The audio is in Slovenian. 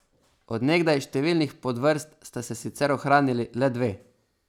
Od nekdaj številnih podvrst sta se sicer ohranili le dve.